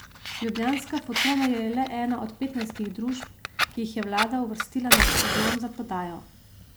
Ljubljanska Fotona je le ena od petnajstih družb, ki jih je vlada uvrstila na seznam za prodajo.